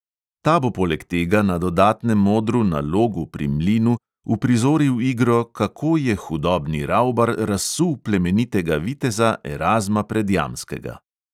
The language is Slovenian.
Ta bo poleg tega na dodatnem odru na logu pri mlinu uprizoril igro "kako je hudobni ravbar razsul plemenitega viteza erazma predjamskega".